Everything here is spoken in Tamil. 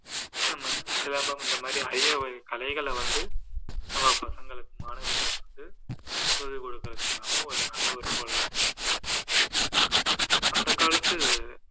நம்ம சிலம்பம் இந்த மாதிரி அரியவகை கலைகளை வந்து நம்ம பசங்களுக்கு மாணவர்களுக்கு சொல்லிக்கொடுக்கிறது மூலமா ஒரு நல்ல ஒரு பொழுது போக்கை அந்த காலத்து